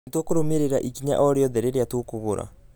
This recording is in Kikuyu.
Nĩ tũkũrũmĩrĩra ikinya o rĩothe rĩrĩa tũgũgũra.